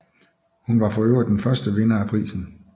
Hun var forøvrigt den første vinder af prisen